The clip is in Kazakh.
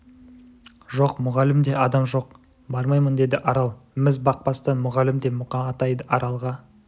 жоқ мұғалім де адам жоқ бармаймын деді арал міз бақпастан мұғалім де мұқа атай да аралға